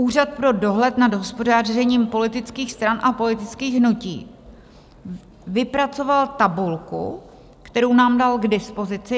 Úřad pro dohled nad hospodařením politických stran a politických hnutí vypracoval tabulku, kterou nám dal k dispozici.